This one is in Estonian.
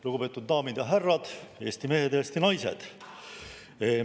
Lugupeetud daamid ja härrad, Eesti mehed ja Eesti naised!